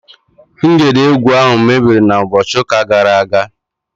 Ngedegwu ahụ mebiri na ụbọchị ụka gara aga